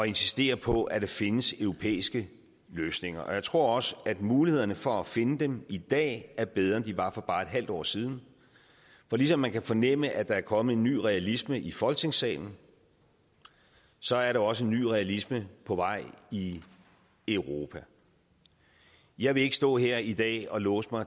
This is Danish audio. insistere på at der findes europæiske løsninger jeg tror også at mulighederne for at finde dem i dag er bedre end de var for bare et halvt år siden for ligesom man kan fornemme at der er kommet en ny realisme i folketingssalen så er der også en ny realisme på vej i europa jeg vil ikke stå her i dag og låse mig